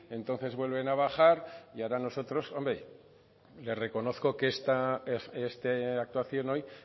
entonces vuelven a bajar y ahora nosotros hombre le reconozco que esta actuación hoy